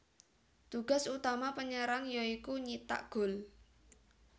Tugas utama penyerang ya iku nyithak gol